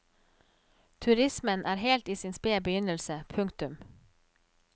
Turismen er helt i sin spede begynnelse. punktum